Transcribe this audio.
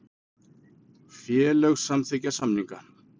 Félög samþykkja samninga